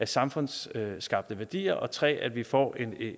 samfundsskabte værdier og 3 at vi får